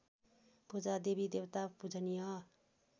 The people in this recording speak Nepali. पूजा देवीदेवता पूजनीय